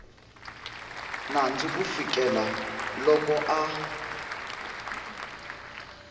nandzu ku fikela loko a